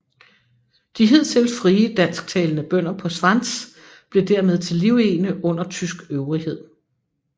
De hidtil frie dansktalende bønder på Svans blev dermed til livegne under tysk øvrighed